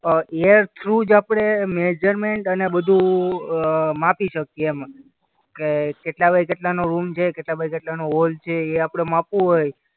a A R through જ આપણે measurement અને બધું અ માપી શકીએ એમ કે કેટલા બાય કેટલાનો રૂમ છે, કેટલા બાય કેટલાનો હોલ છે એ આપણે માપવું હોય